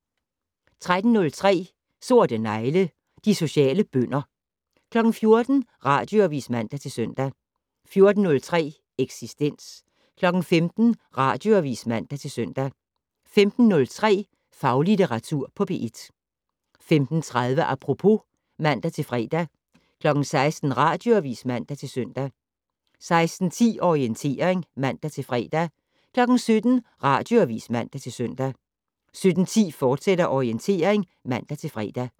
13:03: Sorte negle: De sociale bønder 14:00: Radioavis (man-søn) 14:03: Eksistens 15:00: Radioavis (man-søn) 15:03: Faglitteratur på P1 15:30: Apropos (man-fre) 16:00: Radioavis (man-søn) 16:10: Orientering (man-fre) 17:00: Radioavis (man-søn) 17:10: Orientering, fortsat (man-fre)